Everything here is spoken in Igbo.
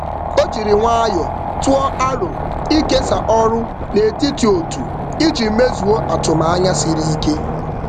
Ọ jiri nwayọọ um tụọ aro ịkesa ọrụ n’etiti otu iji mezuo atụmanya siri ike.